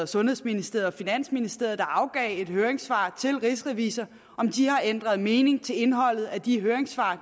sundhedsministeriet og finansministeriet der afgav et høringssvar til rigsrevisor har ændret mening til indholdet af de høringssvar